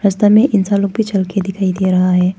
रस्ता में इंसान लोग भी चल के दिखाई दे रहा है।